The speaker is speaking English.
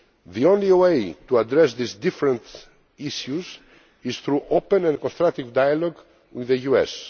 The only way to address these different issues is through open and constructive dialogue with the US.